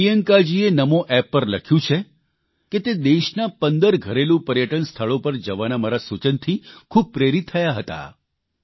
પ્રિયંકાજીએ Namo app પર લખ્યું છે કે તે દેશના 15 ઘરેલૂ પર્યટનસ્થળો પર જવાના મારા સૂચનથી ખૂબ પ્રેરીત થયા હતા